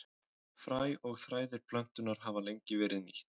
Fræ og þræðir plöntunnar hafa lengi verið nýtt.